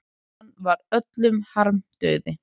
Hann var öllum harmdauði.